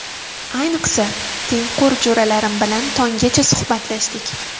Ayniqsa, tengqur jo‘ralarim bilan tonggacha suhbatlashdik.